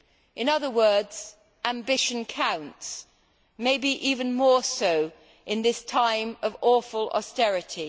In other words, ambition counts maybe even more so in this time of awful austerity.